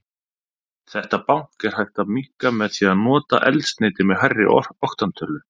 Þetta bank er hægt að minnka með því að nota eldsneyti með hærri oktantölu.